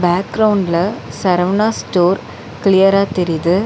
Back கிரவுண்ட்ல Saravana store க்ளியரா தெரியிது.